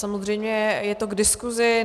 Samozřejmě je to k diskuzi.